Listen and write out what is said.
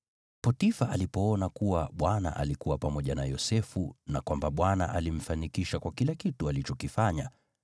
Potifa alipoona kuwa Bwana alikuwa pamoja na Yosefu na kwamba Bwana alimfanikisha kwa kila kitu alichokifanya,